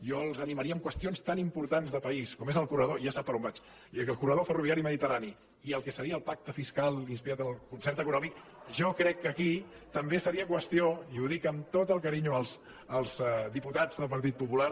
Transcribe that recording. jo els animaria en qüestions tan importants de país com és el corredor ja sap per on vaig ferroviari mediterrani i el que seria el pacte fiscal inspirat en el concert econòmic jo crec que aquí també seria qüestió i ho dic amb tot el carinyo als diputats del partit popular